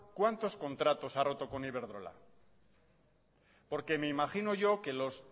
cuántos contratos ha roto con iberdrola porque me imagino yo que los